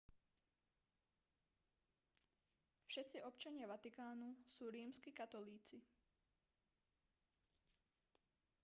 všetci občania vatikánu sú rímski katolíci